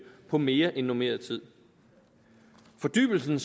på mere end normeret tid fordybelsen